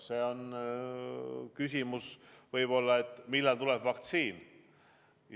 See on võib-olla küsimus, et millal tuleb vaktsiin.